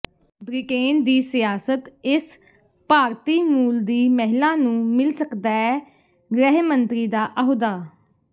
Britain ਦੀ ਸਿਆਸਤ ਇਸ ਭਾਰਤੀ ਮੂਲ ਦੀ ਮਹਿਲਾ ਨੂੰ ਮਿਲ ਸਕਦੈ ਗ੍ਰਹਿ ਮੰਤਰੀ ਦਾ ਅਹੁਦਾ